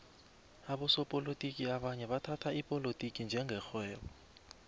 abosopolotiki abanye bathhatha ipolotiki njenge rhwebo